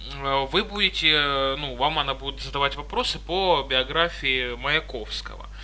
вы будете ну вам она будет задавать вопросы по биографии маяковского